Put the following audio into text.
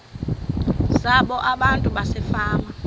zabo abantu basefama